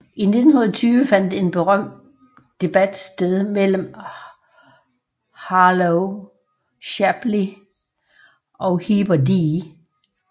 I 1920 fandt en berømt debat sted mellem Harlow Shapley og Heber D